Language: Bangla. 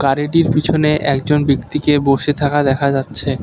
আর এটির পিছনে একজন ব্যক্তিকে বসে থাকা দেখা যাচ্ছে।